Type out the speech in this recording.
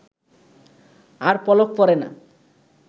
আর পলক পড়ে না